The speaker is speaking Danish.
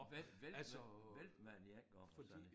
Vælt væltede væltede med den 1 gang og sådan